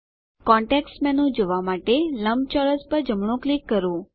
context menu જોવાં માટે લંબચોરસ પર જમણું ક્લિક કરો